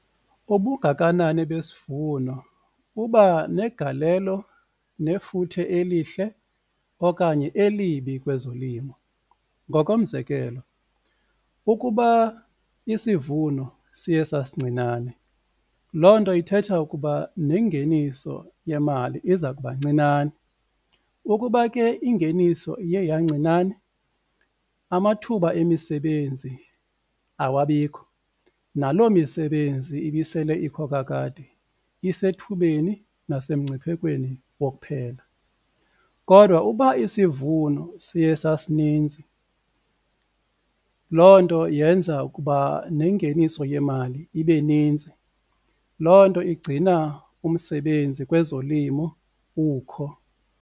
Ubungakanani besivuno buba negalelo nefuthe elihle okanye elibi kwezolimo ngokomzekelo ukuba isivuno siye sasincinane loo nto ithetha ukuba nengeniso yemali iza kuba ncinane, ukuba ke ingeniso iye yancinane amathuba emisebenzi awabikho, naloo misebenzi ibisele ikho kakade isethubeni nasemngciphekweni wokuphela. Kodwa ukuba isivuno sithe sasinintsi loo nto yenza ukuba nengeniso yemali ibe nintsi loo nto igcina umsebenzi kwezolimo ukho.